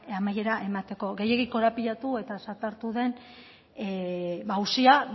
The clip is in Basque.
amaiera emateko gehiegi korapilatu eta zatartu den auzia